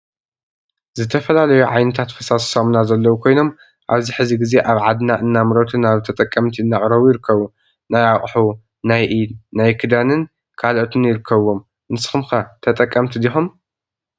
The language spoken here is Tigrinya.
ዝተፈላለዩ ዓይነታት ፋሳሲ ሳሙና ዘለው ኮይኖም አብዚ ሕዚ ግዜ አብ ዓድና እናምረቱ ናብ ተጠቀምቲ አናቅረቡ ይርከቡ ።ናይ አቁሑ፣ ናይ ኢድ ፣ናይ ክዳንን ካልኦትን ይርከቡዎም ንስኩም ከ ተጠቀምቲ ዲኩም?